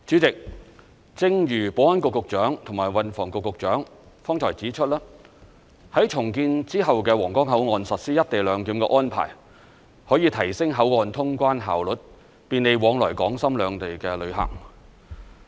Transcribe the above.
代理主席，正如保安局局長和運輸及房屋局局長剛才指出，在重建之後的皇崗口岸實施"一地兩檢"的安排，可以提升口岸通關效率，便利往來港深兩地的旅客。